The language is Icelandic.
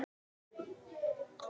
Þjóðin forðum rímur las.